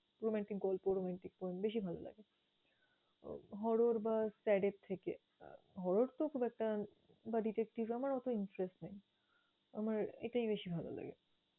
Romantic গল্প romantic poem বেশি ভালো লাগে Horror বা sad এর থেকে। Horror তো খুব একটা বা detecttive আমার অত interest নাই, আমার এটাই বেশি ভালো লাগে।